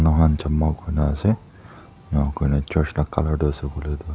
mohan jama kurina ase enakurna church la colour tu ase koilae tu.